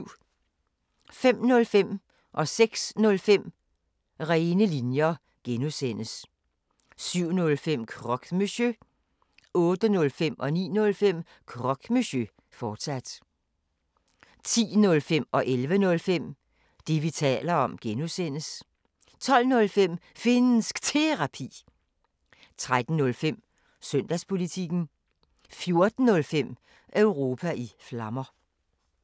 05:05: Rene linjer (G) 06:05: Rene linjer (G) 07:05: Croque Monsieur 08:05: Croque Monsieur, fortsat 09:05: Croque Monsieur, fortsat 10:05: Det, vi taler om (G) 11:05: Det, vi taler om (G) 12:05: Finnsk Terapi 13:05: Søndagspolitikken 14:05: Europa i Flammer